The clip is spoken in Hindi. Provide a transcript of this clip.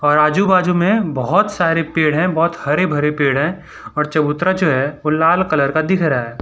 और आजू बाजू में बहोत सारे पेड़ हैं बहोत हरे भरे पेड़ हैं और चबूतरा जो है वो लाल कलर का दिख रहा है।